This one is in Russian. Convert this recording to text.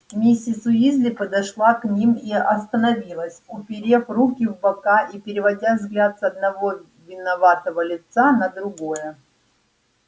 миссис уизли подошла к ним и остановилась уперев руки в бока и переводя взгляд с одного виноватого лица на другое